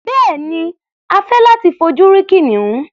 Bẹ́ẹ̀ni, a fẹ́ láti fojú rí kìnìún.